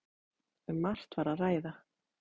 Um margt var að ræða.